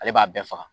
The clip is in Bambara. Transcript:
Ale b'a bɛɛ faga